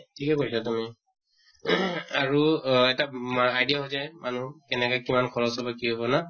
ঠিকে কৈছা তুমি ing আৰু এটা মা idea হৈ যায় মানুহ কেনেকা কিমান খৰচ হʼব কি হʼব না?